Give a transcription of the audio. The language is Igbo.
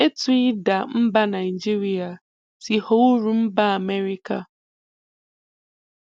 Ètù ìdà mbà Nàìjíríà sì ghọ̀ọ́ úrụ̀ m̀bà Amẹ́ríkà